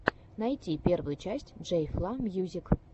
найти первую часть джей фла мьюзик